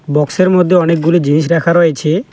বক্সের মধ্যে অনেকগুলো জিনিস রাখা রয়েছে।